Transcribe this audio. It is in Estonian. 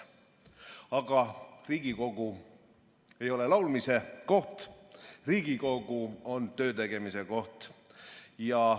Aga Riigikogu ei ole laulmise koht, Riigikogu on töötegemise koht.